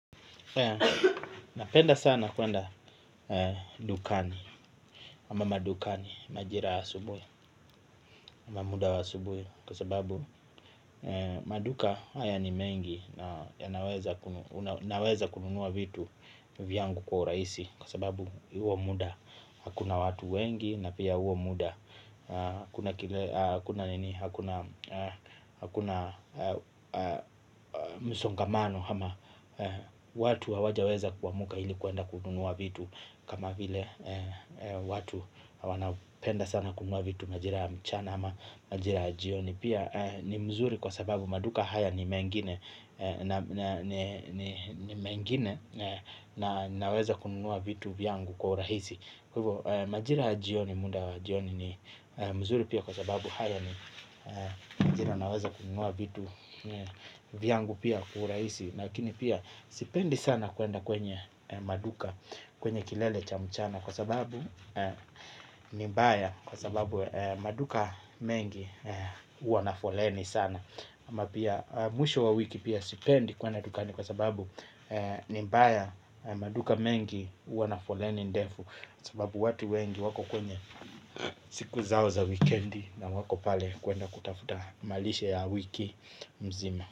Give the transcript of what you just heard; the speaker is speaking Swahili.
Napenda sana kuenda dukani ama madukani majira wa asubuhi ama muda wa asubuhi kwa sababu maduka haya ni mengi na naweza kununuwa vitu vyangu kwa urahisi kwa sababu huo muda hakuna watu wengi na pia huo muda hakuna msongamano watu hawaja weza kuamka ili kwenda kununua vitu. Kama vile watu wanapenda sana kununua vitu majira ya mchana ama majira ya jioni pia ni mzuri kwa sababu maduka haya ni mengine na naweza kununua vitu vyangu kwa urahisi kwa hivyo. Majira ya jjioni muda wa jioni ni mzuri pia kwa sababu haya ni majira naweza kununua vitu vyangu pia kwa urahisi lakini pia sipendi sana kwenda kwenye maduka kwenye kilele cha mchana. Kwa sababu ni mbaya kwa sababu maduka mengi huwa na foleni sana ama pia mwisho wa wiki pia sipendi kwenda dukani kwa sababu ni mbaya maduka mengi huwa na foleni ndefu sababu watu wengi wako kwenye siku zao za wikendi na wako pale kwenda kutafuta malishe ya wiki mzima.